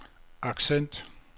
accent